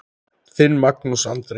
Þinn, Magnús Andri.